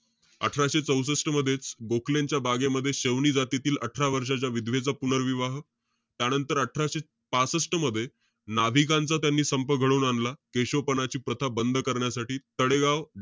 अठराशे चौसष्ट मध्येच, गोखलेंच्या बागेमध्ये, शवनी जातीतील अठरा वर्षाच्या, विधवेचा पुनर्विवाह. त्यानंतर, अठराशे पासष्ट मध्ये, नाभिकांचा त्यांनी संप घडवून आणला. केशवपनाची प्रथा बंद करण्यासाठी, तडेगाव,